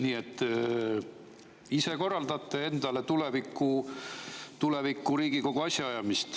Nii et ise korraldate endale tuleviku Riigikogu asjaajamist.